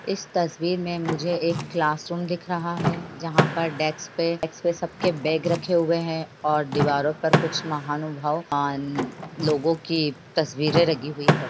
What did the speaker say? इस तस्वीर मे मुझे एक क्लासरूम दिख रहा है जहाँ पर डेस्क पे सबके बैग रखे हुए हैं और दीवारों पर कुछ महानुभव आ लोगों की तस्वीरे लगी हुई है।